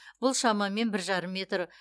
бұл шамамен бір жарым метр